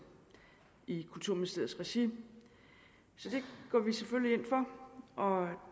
i kulturministeriets regi så det går vi selvfølgelig ind for og